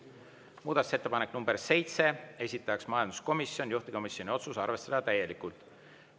Muudatusettepanek nr 7, esitaja majanduskomisjon, juhtivkomisjoni otsus: arvestada täielikult.